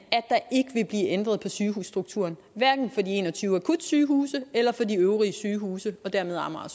at ændret på sygehusstrukturen hverken for de en og tyve akutsygehuse eller for de øvrige sygehuse og dermed amager